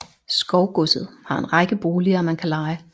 Skovgodset har en række boliger man kan leje